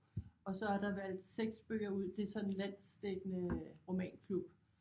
Og så er der valgt 6 bøger ud det er sådan en landsdækkende romanklub